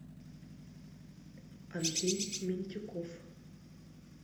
андрей минтюков